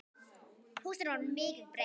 Húsinu var mikið breytt.